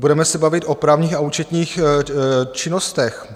Budeme se bavit o právních a účetních činnostech.